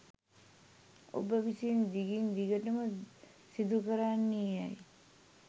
ඔබ විසින් දිගින් දිගටම සිදුකරන්නේ යැයි